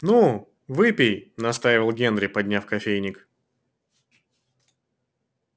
ну выпей настаивал генри подняв кофейник